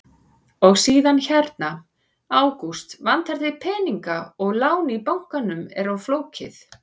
Og síðan hérna: Ágúst, vantar þig peninga og lán í bankanum er of flókið?